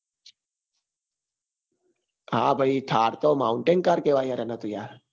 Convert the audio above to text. હા ભાઈ thar તો mountain car કેવાય યાર એને તો યાર